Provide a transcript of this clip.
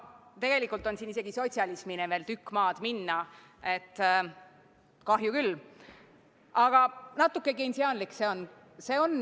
Tegelikult on siin isegi sotsialismini veel tükk maad minna, kahju küll, aga natuke keinsiaanlik see on.